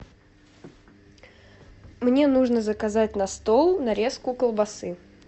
мне нужно заказать на стол нарезку колбасы